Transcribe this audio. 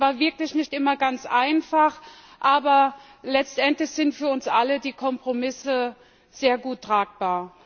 Es war wirklich nicht immer ganz einfach, aber letztendlich sind für uns alle die Kompromisse sehr gut tragbar.